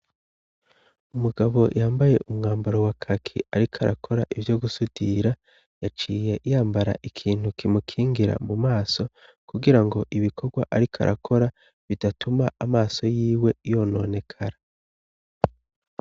Umugabo yambaye umwambaro wa kaki ariko arakora ivyo gusudira, yaciye yambara ikintu kimukingira mu maso kugira ngo ibikorwa ariko arakora bidatuma amaso y'iwe yononekara.